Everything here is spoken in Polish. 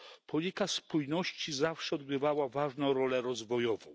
Polityka spójności zawsze odgrywała ważną rolę rozwojową.